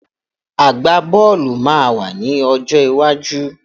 Àgbá-bọ́ọ̀lù máa wà ní ọjọ́ iwájú